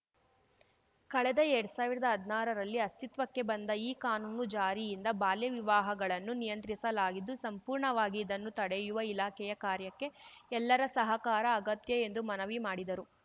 ಕಳೆದ ಎರ್ಡ್ ಸಾವಿರ್ದಾ ಹದ್ನಾರರಲ್ಲಿ ಅಸ್ಥಿತ್ವಕ್ಕೆ ಬಂದ ಈ ಕಾನೂನು ಜಾರಿಯಿಂದ ಬಾಲ್ಯವಿವಾಹಗಳನ್ನು ನಿಯಂತ್ರಿಸಲಾಗಿದ್ದು ಸಂಪೂರ್ಣವಾಗಿ ಇದನ್ನು ತಡೆಯುವ ಇಲಾಖೆಯ ಕಾರ್ಯಕ್ಕೆ ಎಲ್ಲರ ಸಹಕಾರ ಅಗತ್ಯ ಎಂದು ಮನವಿ ಮಾಡಿದರು